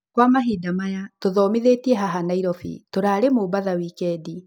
Kwa mahinda maya tũthomithĩtie haha Nairobi, tũrarĩ Mombatha wikendi.